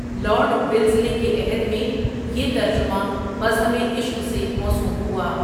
Lord Wellesley کے عہد میں یہ ترجمہ مذہبِ عشق سے موسوم ہوا ۔